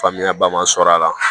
Faamuyaba ma sɔrɔ a la